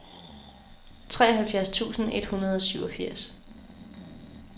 treoghalvfjerds tusind et hundrede og syvogfirs